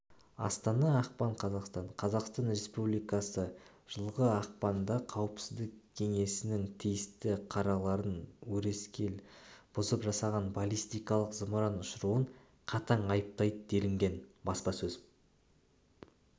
астана ақпан қаз қазақстан республикасы жылғы ақпанда қауіпсіздік кеңесінің тиісті қарарларын өрескел бұзылып жасаған баллистикалық зымыран ұшыруын қатаң айыптайды делінген баспасөз